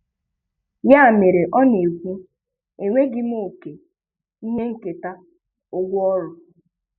Ya mere ọ na-ekwu, "Enweghị m òkè, ihe nketa, ụgwọ ọrụ.